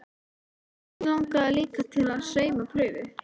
En hvern langaði líka til að sauma prufu?